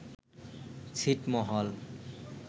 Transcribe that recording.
ছিটমহল